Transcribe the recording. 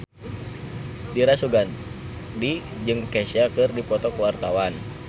Dira Sugandi jeung Kesha keur dipoto ku wartawan